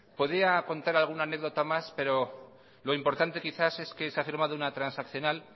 podía contar alguna anécdota más pero lo importante quizás es que se ha firmado una transaccional